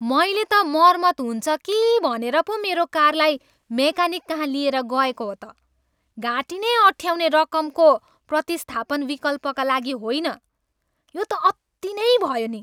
मैले त मर्मत हुन्छ कि भनेर पो मेरो कारलाई मेकानिककहाँ लिएर गएको हो त, घाँटी नै अँठ्याउने रकमको प्रतिस्थापन विकल्पका लागि होइन। यो त अति नै भयो नि!